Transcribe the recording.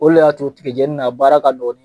O le y'a to tigɛjeni nin, a baara ka dɔ di.